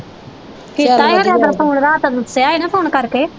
ਕੀਤਾ ਹੀ ਖਰਿਆ ਓਦਣ ਫੋਨ ਰਾਤ ਦਸਿਆ ਹੀ ਨਾ ਫੋਨ ਕਰਕੇ